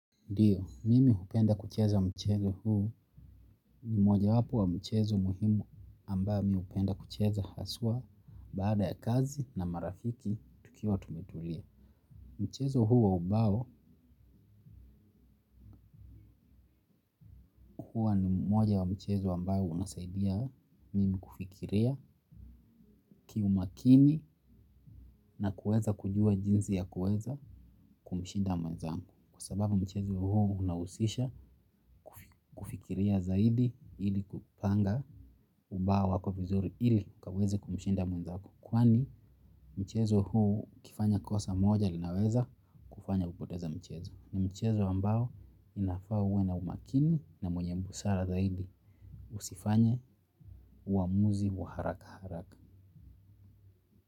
Ndiyo, mimi hupenda kucheza mchezo huu ni moja wapo wa michezo muhimu ambayo mi hupenda kucheza haswa baada ya kazi na marafiki tukiwa tumetulia. Mchezo huu wa ubao hua ni mmoja wa mchezo ambao unasaidia mimi kufikiria kiumakini na kuweza kujua jinzi ya kuweza kumshinda mwenzangu. Kwa sababu mchezo huu unahusisha kufikiria zaidi ili kupanga ubawa wako vizuri ili kaweze kumshinda mwenzako kwani mchezo huu ukifanya kosa moja linaweza kufanya upoteza mchezo. Ni mchezo ambao inafaa uwe na umakinu na mwenye busara zaidi usifanye uamuzi wa haraka haraka.